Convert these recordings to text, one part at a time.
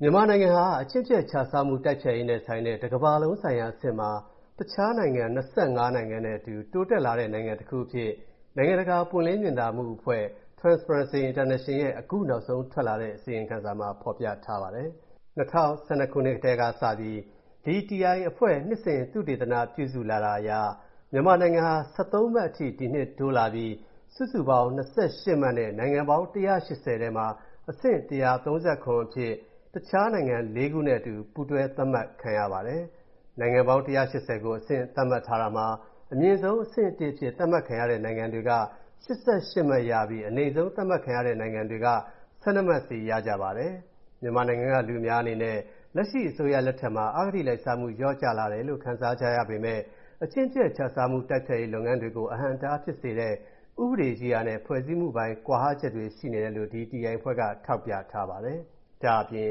မြန်မာနိုင်ငံဟာ အကျင့်ပျက်ခြစားမှု တိုက်ဖျက်ရေးနဲ့ဆိုင်တဲ့ ကမ္ဘာလုံးဆိုင်ရာအဆင့်မှာ တခြားနိုင်ငံ ၂၅ နိုင်ငံနဲ့အတူ တိုးတက်လာတဲ့နိုင်ငံတခုအဖြစ် နိုင်ငံတကာ ပွင့်လင်းမြင်သာမှုအဖွဲ့ (Transparency International) ရဲ့ အခုနောက်ဆုံးထွက်လာတဲ့ အစီရင်ခံစာမှာ ဖော်ပြထားပါတယ်။ ၂၀၁၂ ခုနှစ်ကတည်းကစပြီး TI အဖွဲ့က နှစ်စဉ် သုတေသနပြုစုလာတာအရ မြန်မာနိုင်ငံဟာ ၁၃ မှတ်အထိ တိုးလာပြီး စုစုပေါင်း ၂၈ မှတ်နဲ့ နိုင်ငံပေါင်း ၁၈၀ ထဲမှာ အဆင့် ၁၃၇ အဖြစ် တခြားနိုင်ငံလေးခုနဲ့အတူ အတူပူးတွဲ သတ်မှတ်ခံရပါတယ်။ နိုင်ငံပေါင်း ၁၈၀ ကို အဆင့်သတ်မှတ်ထားတာမှာ အမြင့်ဆုံး အဆင့် ၁ အဖြစ် သတ်မှတ်ခံရတဲ့နိုင်ငံတွေက ၈၈ မှတ်ရပြီး အနိမ့်ဆုံး သတ်မှတ်ခံရတဲ့နိုင်ငံတွေက ၁၂ မှတ်စီရကြပါတယ်။ မြန်မာနိုင်ငံက လူအများအနေနဲ့ လက်ရှိအရပ်သားအစိုးရလက်ထက်မှာ အဂတိလိုက်စားမှုလျော့ကျလာတယ်လို့ ခံစားကြရပေမဲ့ အကျင့်ပျက်ခြစားမှု တိုက်ဖျက်ရေးလုပ်ငန်းတွေကို အဟန့်အတားဖြစ်စေတဲ့ ဥပဒေရေးရာနဲ့ ဖွဲ့စည်းမှုပိုင်း ကွာဟချက်တွေ ရှိနေတယ်လို့ TI အဖွဲ့က ထောက်ပြထားပါတယ်။ ဒါ့အပြင်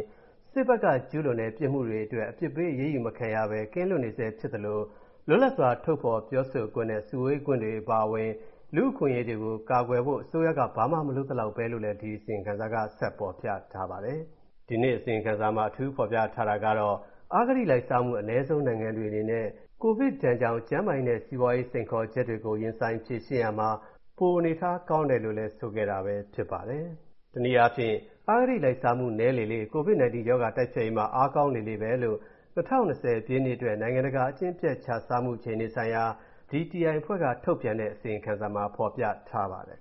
စစ်ဘက်က ကျူးလွန်တဲ့ ပြစ်မှုတွေအတွက် အပြစ်ပေးအရေးယူမခံရဘဲ ကင်းလွတ်နေဆဲဖြစ်သလို လွတ်လပ်စွာ ထုတ်ဖော်ပြောဆိုခွင့်နဲ့ စုဝေးခွင့်တွေအပါအဝင် လူ့အခွင့်အရေးတွေကိုကာကွယ်ဖို့ အစိုးရက ဘာမှမလုပ်သလောက်ဘဲလို့လည်း အစီရင်ခံစာမှာဖော်ပြထားပါတယ်။ ဒီနှစ် အစီရင်ခံစာမှာ အထူးဖော်ပြထားတာကတော့ အဂတိလိုက်စားမှု အနည်းဆုံးနိုင်ငံတွေအနေနဲ့ ကိုဗစ်ဒဏ်ကြောင့် ကျန်းမာရေးနဲ့ စီးပွားရေး စိန်ခေါ်ချက်တွေကို ရင်ဆိုင်ဖြေရှင်းရာမှာ ပိုအနေအထားကောင်းတယ် ဆိုတာပဲဖြစ်ပါတယ်။ တနည်းအားဖြင့် အဂတိလိုက်စားမှု နည်းလေလေ၊ COVID-19 ရောဂါတိုက်ဖျက်ရေးမှာ အားကောင်းလေလေပဲလို့ ၂၀၂၀ ပြည့်နှစ်အတွက် နိုင်ငံတကာ အကျင့်ပျက်ခြစားမှုအခြေအနေဆိုင်ရာ TI အဖွဲ့က ထုတ်ပြန်တဲ့ အစီရင်ခံစာမှာ ဖော်ပြထားပါတယ်